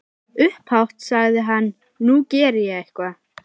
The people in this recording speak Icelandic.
Upphátt sagði hann:- Nú geri ég eitthvað.